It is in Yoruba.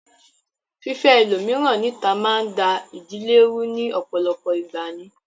Fífẹ́ ẹlòmíràn níta máa ń da ìdílé rú ní ọ̀pọ̀lọpọ̀ ìgbà ni